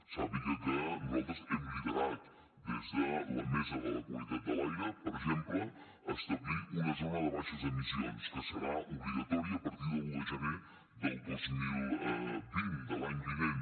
sàpiga que nosaltres hem liderat des de la taula de la qualitat de l’aire per exemple establir una zona de baixes emissions que serà obligatòria a partir de l’un de gener del dos mil vint de l’any vinent